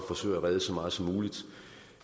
forsøger at redde så meget som muligt